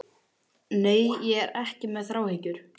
Nei, ég er ekki með þráhyggju.